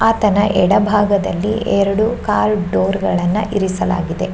ಆತನ ಎಡಬಾಗದಲ್ಲಿ ಎರಡು ಕಾರ್ ಡೋರ್ ಗಳನ್ನ ಇರಿಸಲಾಗಿದೆ.